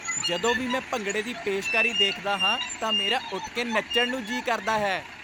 ਜਦੋਂ ਵੀ ਮੈਂ ਭੰਗੜੇ ਦੀ ਪੇਸ਼ਕਾਰੀ ਦੇਖਦਾ ਹਾਂ ਤਾਂ ਮੇਰਾ ਉੱਠ ਕੇ ਨੱਚਣ ਨੂੰ ਜੀ ਕਰਦਾ ਹੈ।